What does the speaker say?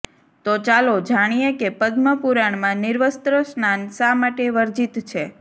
તો ચાલો જાણીએ કે પદ્મ પુરાણમાં નિર્વસ્ત્ર સ્નાન શા માટે વર્જિત છે